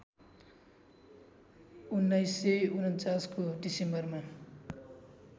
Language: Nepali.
१९४९ को डिसेम्बरमा